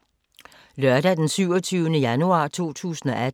Lørdag d. 27. januar 2018